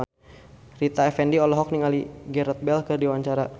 Rita Effendy olohok ningali Gareth Bale keur diwawancara